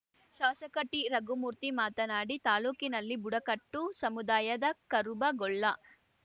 ಶಾಸಕ ಟಿ ರಘುಮೂರ್ತಿ ಮಾತನಾಡಿ ತಾಲೂಕಿನಲ್ಲಿ ಬುಡಕಟ್ಟು ಸಮುದಾಯದ ಕರುಬ ಗೊಲ್ಲ